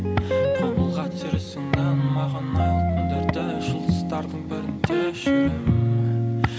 қол бұлға маған айлы түндерді жұлдыздардың бірінде жүремін